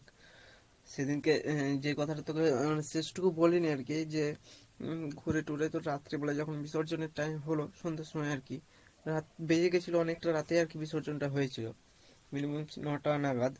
সেদিন কে আহ যে কথাটা তোকে আহ শেষ টুকু বলিনি আরকী যে উম ঘুড়ে টুরে তো রাত্রে বেলা যখন বিসর্জনের time হলো, সন্ধ্যের সময় আর কী আহ বেজে গেছিলো অনেক টা রাতেই আর কী বিসর্জন টা হয়েছিলো, minimum ন-টা নাগাদ